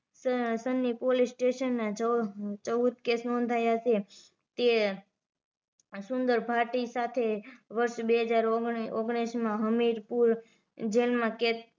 Sunny police station એ ચૌદ કેદ નોધાવ્યા છે તે સુંદર ભાટી સાથે વર્ષ બે હજાર ઓગ્ણીસ માં હમીરપુર જેલમાં કેદ